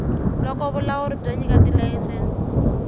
loko vulawuri byo nyika tilayisense